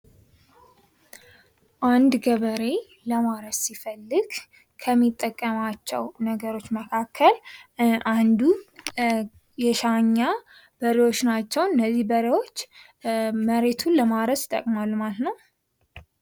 አንድ ገበሬ ለማረስ ሲፈልግ ከሚጠቀማቸው ነገሮች መካከል አንዱ የሻኛ በሬዎች ናቸው። እነዚህ በሬዎች መሬቱን ለማረስ ይጠቅማሉ ማለት ነው።